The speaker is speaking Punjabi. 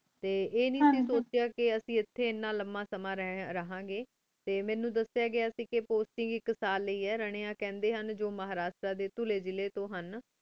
ਟੀ ਆਯ ਨੀ ਸੋਚੇਯਾ ਕੀ ਅਸੀਂ ਏਥੀ ਇਨਾ ਲੰਬਾ ਸਮਾਂ ਰਾਹਾਂ ਗੀ ਟੀ ਮੀਨੂੰ ਦਸ੍ਯ ਗਯਾ ਸੇ ਗਾ ਕੀ ਤੁਸੀਂ ਆਇਕ ਸਾਲ ਲਹਿ ਆਯ ਰਾਨੇਯਾਂ ਕਹੰਡੀ ਹੁਣ ਜੋ ਮਹ੍ਰਸਾ ਟੀ ਪੁਰੀ ਜਿਲੀ ਤੂੰ